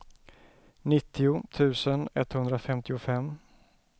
nittio tusen etthundrafemtiofem